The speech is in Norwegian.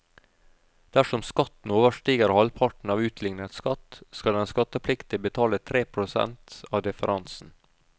Dersom skatten overstiger halvparten av utlignet skatt, skal den skattepliktige betale tre prosent av differansen.